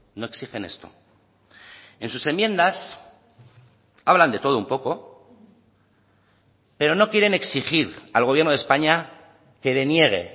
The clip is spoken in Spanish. no exigen esto en sus enmiendas hablan de todo un poco pero no quieren exigir al gobierno de españa que deniegue